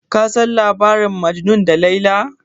Kin san labarin majanuni da laila?